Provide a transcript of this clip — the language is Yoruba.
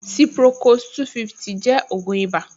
Ciprocos-250 jẹ́ ògùn ìbà